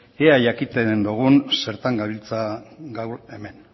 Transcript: ea jakiten dugun zertan gabiltza gaur hemen